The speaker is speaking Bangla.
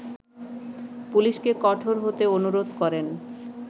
পুলিশকে কঠোর হতে অনুরোধ করেন